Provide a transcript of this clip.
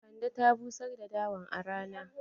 Kande ta busar da dawan a rana.